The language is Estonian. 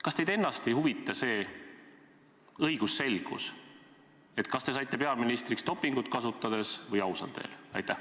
Kas teid ennast ei huvita õigusselgus, kas te saite peaministriks dopingut kasutades või ausal teel?